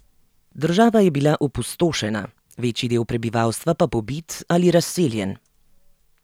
Država je bila opustošena, večji del prebivalstva pa pobit ali razseljen.